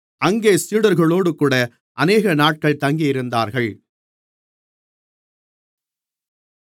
அங்கே சீடர்களோடுகூட அநேகநாட்கள் தங்கியிருந்தார்கள்